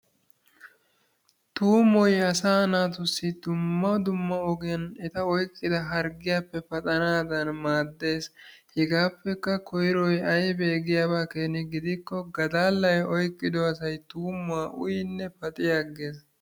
Tuummoy asaa naatussi dumma dumma ogiyan eta oyqqida harggiyappe paxanaadan maadees, hegaapekka koyroy aybee giyaba keeni gidikko gadaalay oykkiddo asay tuummuwa uyinne paxxi aqqees.